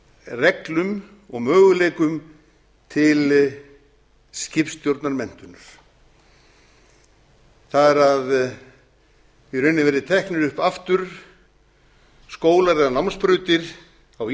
reglum og möguleikum til skipstjórnarmenntunar það er að það verði í rauninni teknir upp aftur skólar eða námsbrautir á